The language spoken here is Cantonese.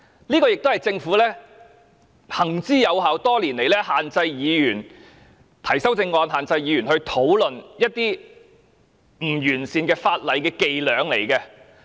其實，這也是政府行之有效、多年來限制議員提出修正案，限制議員討論一些不完善法例的伎倆。